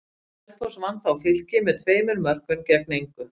Selfoss vann þá Fylki með tveimur mörkum gegn engu.